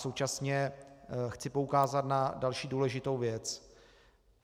Současně chci poukázat na další důležitou věc.